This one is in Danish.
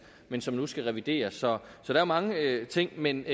men som nu skal revideres så der er mange ting men